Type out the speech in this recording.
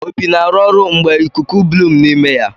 Opi na-arụ ọrụ mgbe ikuku Blum n'ime ya.